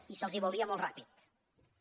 i se’ls veuria molt ràpidament